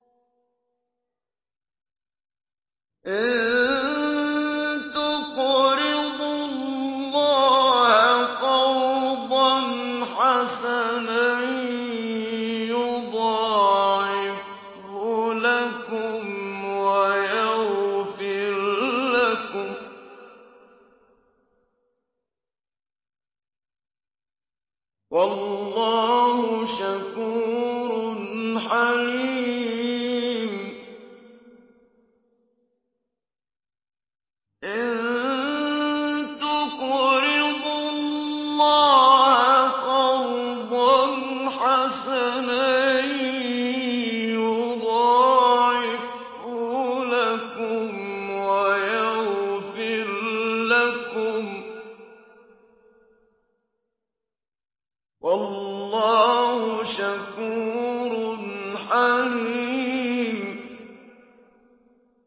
إِن تُقْرِضُوا اللَّهَ قَرْضًا حَسَنًا يُضَاعِفْهُ لَكُمْ وَيَغْفِرْ لَكُمْ ۚ وَاللَّهُ شَكُورٌ حَلِيمٌ